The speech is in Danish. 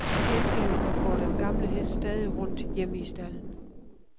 Til gengæld går den gamle hest stadig rundt hjemme i stalden.